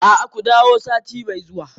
A'a, ku dawo sati mai zuwa.